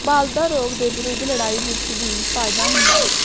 ਬਲਦਾ ਰੋਗ ਦੇ ਵਿਰੁੱਧ ਲੜਾਈ ਵਿੱਚ ਵੀ ਫਾਇਦਾ ਹੁੰਦਾ ਹੈ